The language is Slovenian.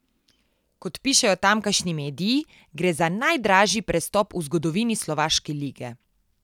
Kot pišejo tamkajšnji mediji, gre za najdražji prestop v zgodovini slovaške lige.